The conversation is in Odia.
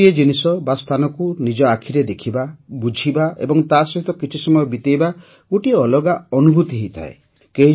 ଗୋଟିଏ ଜିନିଷ ବା ସ୍ଥାନକୁ ନିଜ ଆଖିରେ ଦେଖିବା ବୁଝିବା ଏବଂ ତାସହିତ କିଛି ସମୟ ବିତେଇବା ଗୋଟିଏ ଅଲଗା ଅନୁଭୂତି ହେଇଥାଏ